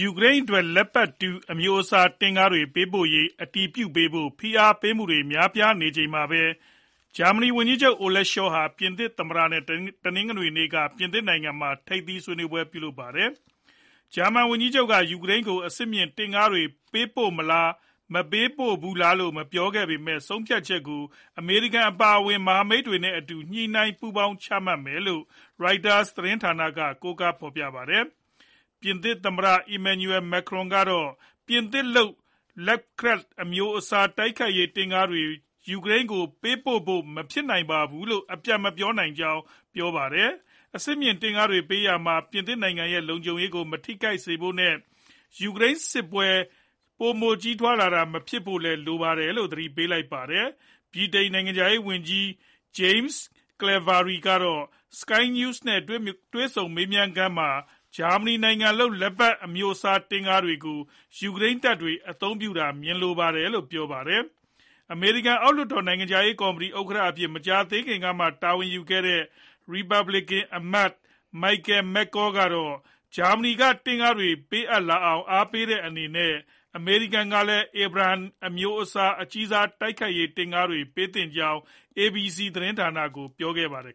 ူကရိန်းအတွက် Leopard 2 အမျိုးအစား တင့်ကားတွေ ပေးပို့ရေး အတည်ပြုပေးဖို့ ဖိအားပေးမှုတွေ များပြားနေချိန်မှာပဲ ဂျာမန်ဝန်ကြီးချုပ် Olaf Scholz ဟာ ပြင်သစ် သမ္မတ နဲ့ တနင်္ဂနွေနေ့က ပြင်သစ်နိုင်ငံမှာ ထိပ်သီးဆွေးနွေးကြပါတယ်။ ဂျာမန်ဝန်ကြီးချုပ် က ယူကရိန်းကို အဆင့်မြင့် တင့်ကားတွေ ပို့ပေးမလား ၊ ပို့မပေးဘူးလားလို့ မပြောခဲ့ပေမဲ့ ဆုံးဖြတ်ချက် ကို အမေရိကန် အပါအဝင် မဟာမိတ်တွေနဲ့ အတူ ညှိနှိုင်းပူးပေါင်းပြီးမှ ချမှတ်မယ်လို့ Reuters သတင်းဌာနက ကိုးကား ဖော်ပြပါတယ်။ ပြင်သစ် သမ္မတ Emmanuel Macron ကတော့ ပြင်သစ်လုပ် Leclerc အမျိုးစား တိုက်ခိုက်ရေး တင့်ကားတွေ ယူကရိန်းကို ပေးပို့ဖို့ မဖြစ်နိုင်ဘူးလို့ အပြတ်မပြောနိုင်ကြောင်း ပြောပါတယ်။ အဆင့်မြင့် တင့်ကားတွေ ပေးရာမှာ ပြင်သစ်နိုင်ငံရဲ့ လုံခြုံရေးကို မထိခိုက်စေဖို့ နဲ့ ယူကရိန်း ရုရှားစစ်ပွဲ ပိုမိုအရှိန်ကြီးထွားလာတာ မဖြစ်ဖို့ လိုတယ်လို့လည်း သတိပေးပါတယ်။ ဗြိတိန်နိုင်ငံခြားရေးဝန်ကြီး James Cleverly ကတော့ SKY NEWS နဲ့ တွေ့ဆုံမေးမြန်းခန်းမှာ ဂျာမနီနိုင်ငံလုပ် Leopard အမျိုးအစား တင့်ကားတွေကို ယူကရိန်းတပ်တွေ အသုံးပြုနေတာကို မြင်လိုပါတယ်လို့ ပြောပါတယ်။ အမေရိကန် အောက်လွှတ်တော် နိုင်ငံခြားရေးကော်မတီ ဥက္ကဋ္ဌအဖြစ် မကြာသေးခင်မှ တာဝန်ယူခဲ့တဲ့ ရီပတ်ဘလစ်ကန်အမတ် Michael McCaul ကတော့ ဂျာမနီက တင့်ကားတွေ ပေးအပ်လာအောင် အားပေးတဲ့ အနေနဲ့ အမေရိကန်ကလည်း Abrams အမျိုးအစား အကြီးစား တိုက်ခိုက်ရေး တင့်ကားတွေ ပေးသင့်ကြောင်း ABC သတင်းဌာနကို ပြောခဲ့ပါတယ်